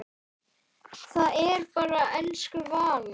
Það er bara elsku Vala.